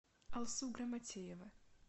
алсу грамотеева